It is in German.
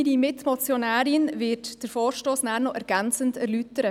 Meine Mitmotionärin wird den Vorstoss anschliessend noch ergänzend erläutern.